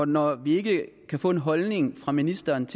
når vi ikke kan få en holdning fra ministerens